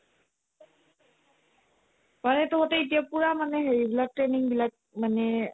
মানে তহঁতে এতিয়া পুৰা মানে হেৰি বিলাকে training বিলাক মানে